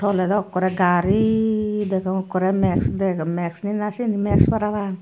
tole do okkore gari degong okkore max dego max ne nahi siyan max parapang.